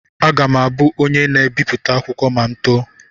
Aga m abụ onye na-ebipụta akwụkwọ ma m too.